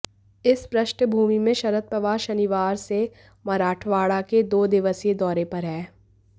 इस पृष्ठभूमि में शरद पवार शनिवार से मराठवाड़ा के दो दिवसीय दौरे पर हैं